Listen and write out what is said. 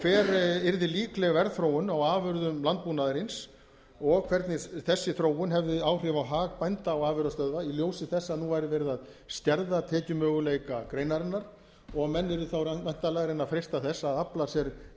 hver yrði líkleg verðþróun á afurðum landbúnaðarins og hvernig þessi þróun hefði áhrif á hag bænda og afurðastöðva í ljósi þess að nú væri verið að skerða tekjumöguleika greinarinnar og menn yrðu þá væntanlega að reyna að freista þess að afla sér